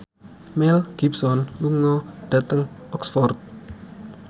Mel Gibson lunga dhateng Oxford